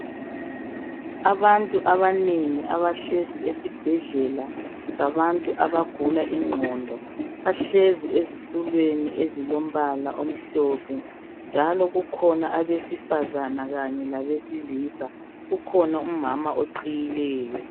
Abantu abanengi abahlezi esibhedlela sabantu abagula ingqondo, bahlezi ezitulweni ezilombala omhlophe njalo kukhona abesifazana kanye labesilisa. Kukhona umama oqhiyileyo.